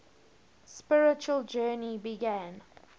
spiritual journey began